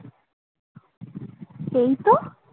এইতো